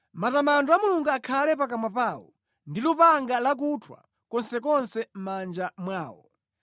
Matamando a Mulungu akhale pakamwa pawo, ndi lupanga lakuthwa konsekonse mʼmanja mwawo,